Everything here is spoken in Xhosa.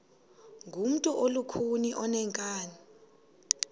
ngumntu olukhuni oneenkani